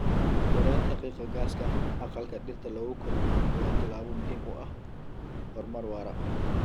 Yaraynta qiiqa gaaska aqalka dhirta lagu koriyo waa tallaabo muhiim u ah horumar waara.